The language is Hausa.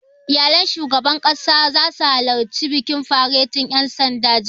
Iyalan shugaban ƙasa zasu halarci bikin faretin ƴan sandan, jibi